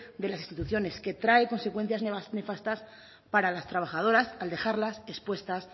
de las instituciones que trae consecuencias nefastas para las trabajadoras al dejarlas expuestas